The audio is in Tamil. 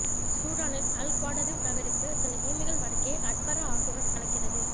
சூடானில் அல் குவாடரிவ் நகருக்கு சில கிமீகள் வடக்கே அட்பரா ஆற்றுடன் கலக்கிறது